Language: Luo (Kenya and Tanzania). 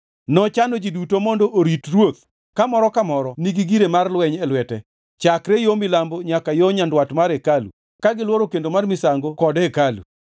Nochano ji duto mondo orit ruoth ka moro ka moro nigi gire mar lweny e lwete, chakre yo milambo nyaka yo nyandwat mar hekalu ka gilworo kendo mar misango kod hekalu.